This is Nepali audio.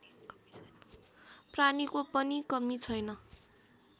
प्राणीको पनि कमी छैन